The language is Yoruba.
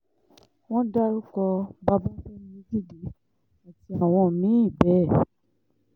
wọ́n dárúkọ babafẹ́mi ojúde àti àwọn mí-ín bẹ́ẹ̀